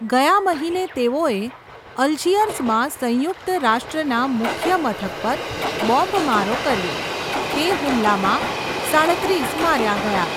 ગયા મહિને તેઓએ અલ્જિયર્સમાં સંયુક્ત રાષ્ટ્રના મુખ્યમથક પર બોમ્બમારો કર્યો. તે હુમલામાં સાડત્રીસ માર્યા ગયા.